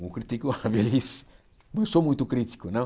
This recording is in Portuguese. Não critico a velhice, não sou muito crítico, não.